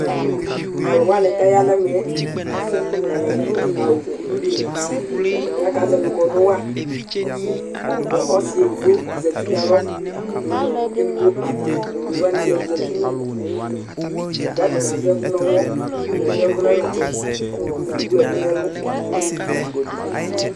Tʋ alʋ wanɩ kʋ aya nʋ ɛmɛ yɛ, atanɩ adʋ awʋ kulu dɩnɩ kʋ akazɛvɩ kɔnʋ wa kʋ ɔsɩ edigbo zati nʋ alɔ kʋ edigbo ata one wanɩ y zati nʋ udu kʋ atanɩ adʋ ɛkʋ nʋ ɔmɔ, atanɩ adʋ ɛkʋ nʋ anatsɛ Edigb ewu ɛkʋ nʋ ɛlʋ